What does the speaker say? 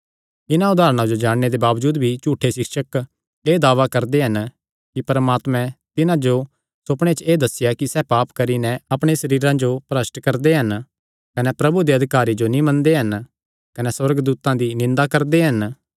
इन्हां उदारणा जो जाणने दे बावजूद भी झूठे सिक्षक एह़ दावा करदे हन कि परमात्मैं तिन्हां जो सुपणे च एह़ दस्सेया कि सैह़ पाप करी नैं अपणे सरीरां जो भरष्ठ करदे हन कने प्रभु दे अधिकारां जो नीं मनदे हन कने सुअर्गदूतां दी निंदा करदे हन